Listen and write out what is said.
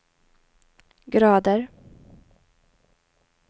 grader